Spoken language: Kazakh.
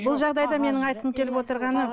бұл жағдайда менің айтқым келіп отырғаны